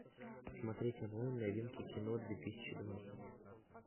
смотреть онлайн новинки кино две тысячи двадцать